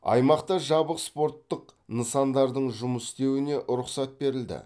аймақта жабық спорттық нысандардың жұмыс істеуіне рұқсат берілді